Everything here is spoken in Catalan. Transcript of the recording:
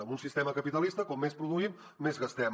en un sistema capitalista com més produïm més gastem